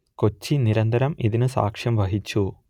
കൊച്ചി നിരന്തരം ഇതിനു സാക്ഷ്യം വഹിച്ചു